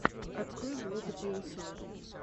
открой влог диллсона